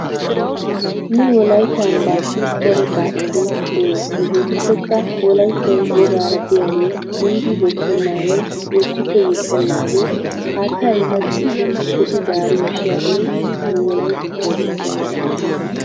Nu wolaytta ambbaassi daro taarikee de'ees. Hegeetuppekka wolayttay wogaara diyagee giidi bochchennaagee bochchikko yeddennaagee, haattaa immarkkii gin shoci zaari ushshiyagee nu wolayttay, nu wolayttay gitay..